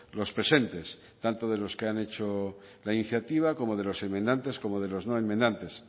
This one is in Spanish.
los presentes tanto de los que han hecho la iniciativa como de los enmendantes como de los no enmendantes